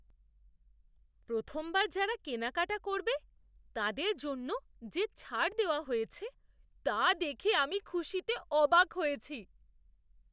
প্রথমবার যারা কেনাকাটা করবে তাদের জন্য যে ছাড় দেওয়া হয়েছে তা দেখে আমি খুশিতে অবাক হয়েছি!